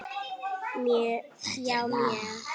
Já mjög